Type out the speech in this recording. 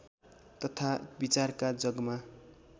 तथा विचारका जगमा